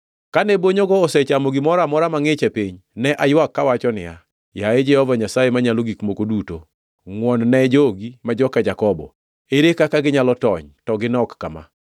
Kane bonyogo osechamo gimoro amora mangʼich e piny, ne aywak kawacho niya, “Yaye Jehova Nyasaye Manyalo Gik Moko Duto, ngʼwon-ne jogi ma joka Jakobo. Ere kaka ginyalo tony, to ginok kama?”